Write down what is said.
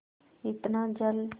इतना जल